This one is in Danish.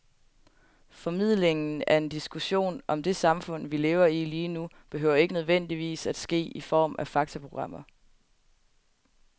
Formidlingen af en diskussion om det samfund, vi lever i lige nu, behøver ikke nødvendigvis at ske i form af faktaprogrammer.